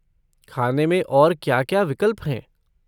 खाने में और क्या क्या विकल्प हैं?